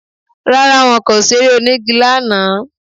Rárá, wọn kò ṣeré onígi lánàá